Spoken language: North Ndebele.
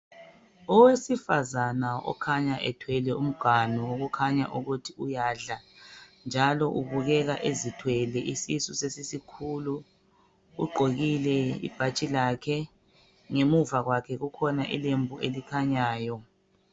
Owesifazana okhanya ethwele umganu okukhanya ukuthi uyadla njalo ubukeka ezithwele isisu sesisikhulu ugqokile ibhatshi lakhe ngemuva kwakhe kukhona ilembu elikhanyayo